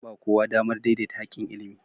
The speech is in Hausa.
An ba kowa damar daidaita haƙƙin ilimi